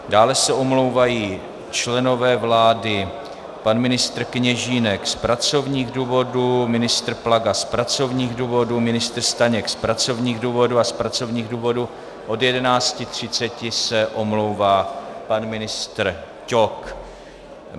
Dále se omlouvají členové vlády: pan ministr Kněžínek z pracovních důvodů, ministr Plaga z pracovních důvodů, ministr Staněk z pracovních důvodů a z pracovních důvodů od 11.30 se omlouvá pan ministr Ťok.